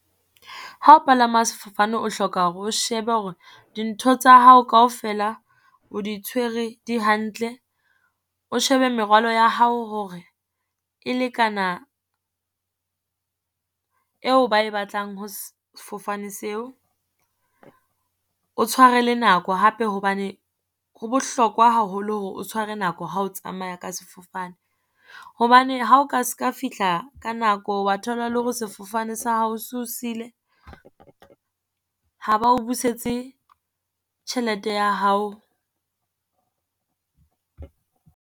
Ha o palama sefofane o hloka hore o shebe hore dintho tsa hao kaofela o di tshwere di hantle, o shebe merwalo ya hao hore e lekana eo ba e batlang ho sefofane seo. O tshware le nako hape hobane ho bohlokwa haholo hore o tshware nako ha o tsamaya ka sefofane. Hobane ha o ka se ka fihla ka nako wa thola le hore sefofane sa hao so siile, ha ba o busetse tjhelete ya hao.